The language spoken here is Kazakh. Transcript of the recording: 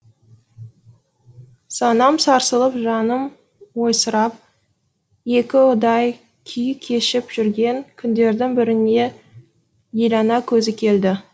санам сарсылып жаным ойсырап екіұдай күй кешіп жүрген күндердің бірінде елана көзі келді